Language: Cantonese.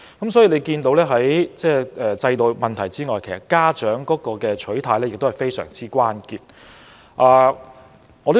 由此可見，除了制度問題外，家長的心態和行事亦是關鍵所在。